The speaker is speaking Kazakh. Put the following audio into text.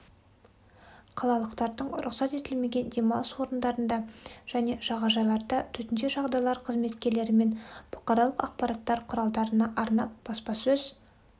қалалықтардың рұқсат етілмеген демалыс орындарында және жағажайларда төтенше жағдайлар қызметкерлерімен бұқаралық ақпарат құралдарына арнап баспасөз